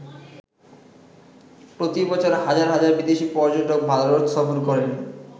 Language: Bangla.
প্রতি বছর হাজার হাজার বিদেশি পর্যটক ভারত সফর করেন।